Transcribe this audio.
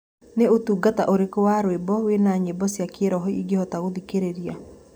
ni ũtũngata ũrĩkũ wa rwĩmbo wina nyĩmbo cĩa kiroho ingihota gũthĩkĩrĩrĩa